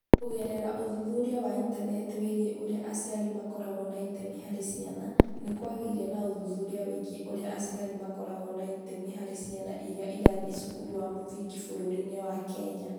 Kũgerera ũthuthuria wa Intaneti wĩgiĩ ũrĩa aciari makoragwo na itemi harĩ ciana, nĩ kwagĩire na ũthuthuria wĩgiĩ ũrĩa aciari makoragwo na itemi harĩ ciana iria irathiĩ cukuru ya mũthingi bũrũri-inĩ wa Kenya.